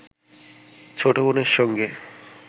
ছোট বোনের সঙ্গে